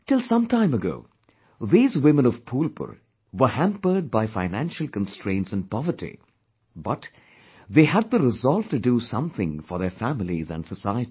Till some time ago, these women of Phulpur were hampered by financial constraints and poverty, but, they had the resolve to do something for their families and society